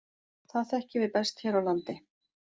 Það þekkjum við best hér á landi.